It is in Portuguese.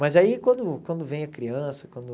Mas aí quando quando vem a criança, quando...